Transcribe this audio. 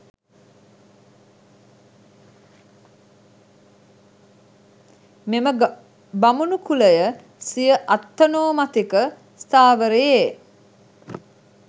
මෙම බමුණු කුලය සිය අත්තනෝමතික ස්ථාවරයේ